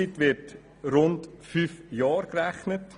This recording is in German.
Für die Bauzeit werden rund fünf Jahre gerechnet.